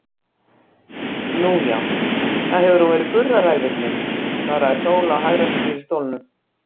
Nú já, það hefur verið hún Gurra ræfillinn, svaraði Sóla og hagræddi sér í stólnum.